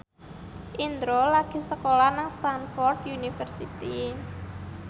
Indro lagi sekolah nang Stamford University